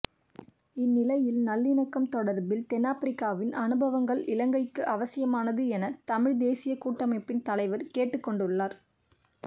இந்நிலையில் நல்லிணக்கம் தொடர்பில் தென்னாபிரிக்காவின் அனுபவங்கள் இலங்கைக்கு அவசியமானது என தமிழ்த் தேசியக் கூட்டமைப்பின் தலைவர் கேட்டுக்கொண்டுள்ளார்